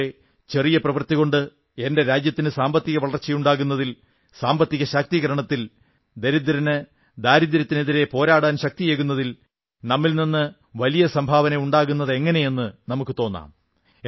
അതുപോലെ ചെറിയ പ്രവർത്തികൊണ്ട് എന്റെ രാജ്യത്തിന് സാമ്പത്തിക വളർച്ചയുണ്ടാകുന്നതിൽ സാമ്പത്തിക ശാക്തീകരണത്തിൽ ദരിദ്രന് ദാരിദ്ര്യത്തിനെതിരെ പോരാടാൻ ശക്തിയേകുന്നതിൽ നമ്മിൽ നിന്ന് വലിയ സംഭാവന ഉണ്ടാകുന്നതെങ്ങനെയെന്ന് നമുക്കു തോന്നാം